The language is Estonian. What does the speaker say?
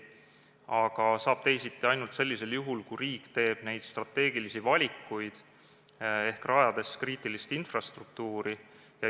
Aga teisiti saab ainult sellisel juhul, kui riik teeb strateegilisi valikuid ehk rajab kriitilist infrastruktuuri.